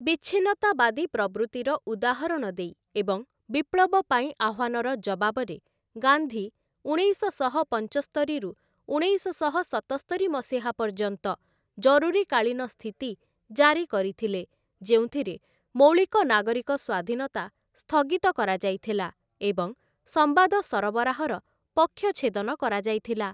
ବିଚ୍ଛିନ୍ନତାବାଦୀ ପ୍ରବୃତ୍ତିର ଉଦାହରଣ ଦେଇ ଏବଂ ବିପ୍ଳବ ପାଇଁ ଆହ୍ୱାନର ଜବାବରେ, ଗାନ୍ଧୀ ଉଣେଇଶଶହ ପଞ୍ଚସ୍ତରିରୁ ଉଣେଇଶଶହ ସତସ୍ତରି ମସିହା ପର୍ଯ୍ୟନ୍ତ ଜରୁରୀକାଳୀନ ସ୍ଥିତି ଜାରି କରିଥିଲେ, ଯେଉଁଥିରେ ମୌଳିକ ନାଗରିକ ସ୍ୱାଧୀନତା ସ୍ଥଗିତ କରାଯାଇଥିଲା ଏବଂ ସମ୍ବାଦ ସରବରାହ‌ର ପକ୍ଷଛେଦନ‌ କରାଯାଇଥିଲା ।